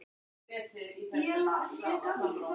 Ég má til með að gefa henni eitthvað.